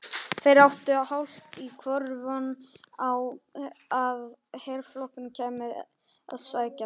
Þeir áttu hálft í hvoru von á að herflokkur kæmi að sækja þá.